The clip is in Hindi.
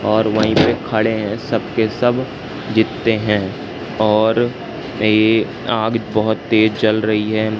और वहीं पर खड़े हैं सब के सब जीते हैं और ये आग बहोत तेज चल रही है।